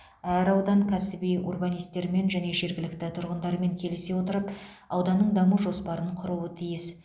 әр аудан кәсіби урбанистермен және жергілікті тұрғындармен келісе отырып ауданның даму жоспарын құруы тиіс